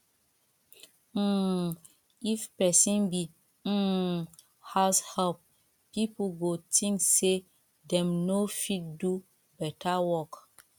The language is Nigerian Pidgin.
um if persin be um househelp pipo go think say dem no fit do better work